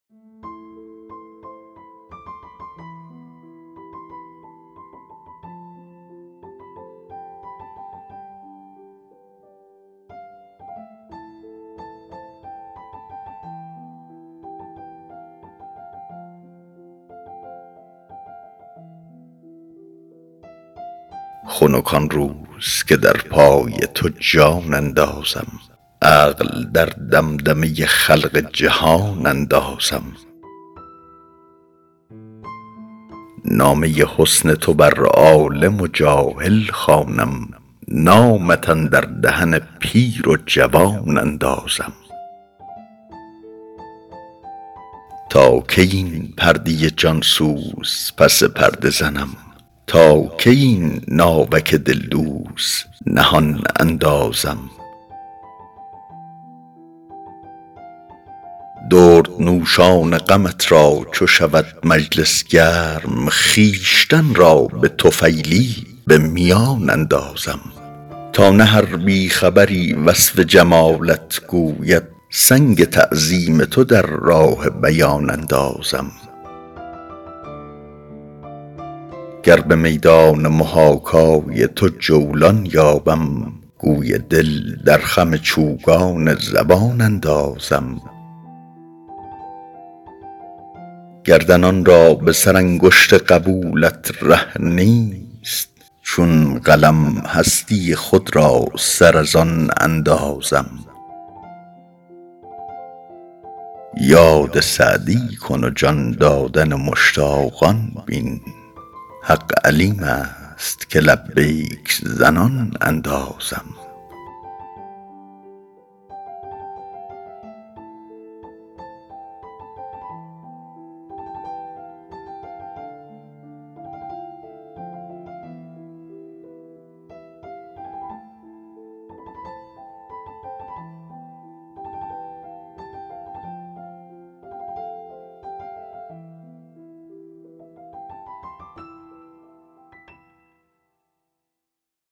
خنک آن روز که در پای تو جان اندازم عقل در دمدمه خلق جهان اندازم نامه حسن تو بر عالم و جاهل خوانم نامت اندر دهن پیر و جوان اندازم تا کی این پرده جان سوز پس پرده زنم تا کی این ناوک دلدوز نهان اندازم دردنوشان غمت را چو شود مجلس گرم خویشتن را به طفیلی به میان اندازم تا نه هر بی خبری وصف جمالت گوید سنگ تعظیم تو در راه بیان اندازم گر به میدان محاکای تو جولان یابم گوی دل در خم چوگان زبان اندازم گردنان را به سرانگشت قبولت ره نیست چون قلم هستی خود را سر از آن اندازم یاد سعدی کن و جان دادن مشتاقان بین حق علیم است که لبیک زنان اندازم